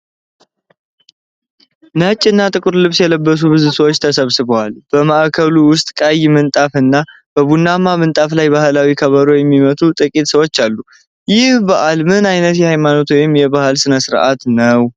ነጭ እና ጥቁር ልብስ የለበሱ ብዙ ሰዎችን ተሰብስበዋል። በማዕከሉ ውስጥ ቀይ ምንጣፍ እና በቡናማ ምንጣፍ ላይ ባህላዊ ከበሮ የሚመቱ ጥቂት ሰዎች አሉ። ይህ በዓል ምን ዓይነት የሃይማኖት ወይም የባህል ሥነ-ሥርዓት ነው?